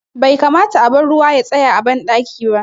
Bai kamata a bar ruwa ya tsaya a ban ɗaki ba